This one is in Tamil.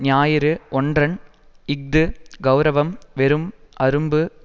ஞாயிறு ஒற்றன் இஃது கெளரவம் வெறும் அரும்பு